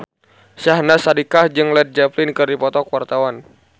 Syahnaz Sadiqah jeung Led Zeppelin keur dipoto ku wartawan